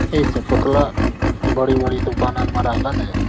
ऐसे पुतला बड़ी-बड़ी दुकानो में रखत है।